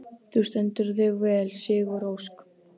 Þú stendur þig vel, Sigurósk!